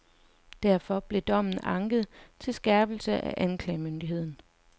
Derfor blev dommen anket til skærpelse af anklagemyndigheden.